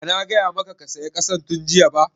Ba na gaya maka ka saya ƙasan tun jiya ba?\